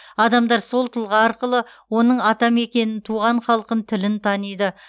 адамдар сол тұлға арқылы оның ата мекенін туған халқын тілін таниды